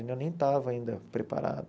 Eu ainda nem estava ainda preparado.